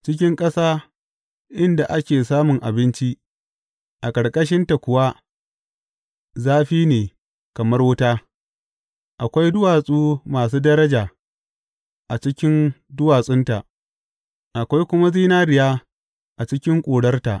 Cikin ƙasa inda ake samun abinci, a ƙarƙashinta kuwa zafi ne kamar wuta; akwai duwatsu masu daraja a cikin duwatsunta, akwai kuma zinariya a cikin ƙurarta.